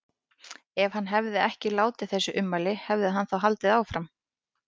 Ef hann hefði ekki látið þessi ummæli, hefði hann þá haldið áfram?